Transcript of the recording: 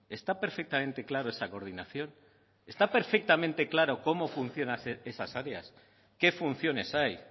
está perfectamente claro esa coordinación está perfectamente claro cómo funcionan esas áreas qué funciones hay